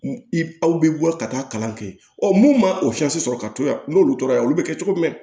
Aw bɛ bɔ ka taa kalan kɛ mun ma o sɔrɔ ka to yan n'olu tora yen olu bɛ kɛ cogo min